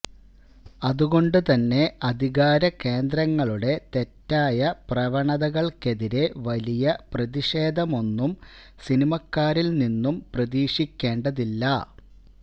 അതുകൊണ്ടുതന്നെ അധികാര കേന്ദ്രങ്ങളുടെ തെറ്റായ പ്രവണതകൾക്കെതിരെ വലിയ പ്രതിഷേധമൊന്നും സിനിമാക്കാരില് നിന്നും പ്രതീക്ഷിക്കേണ്ടതില്ല